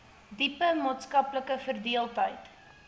diepe maatskaplike verdeeldheid